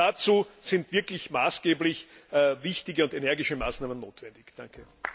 Dazu sind wirklich maßgeblich wichtige und energische Maßnahmen notwendig. BRK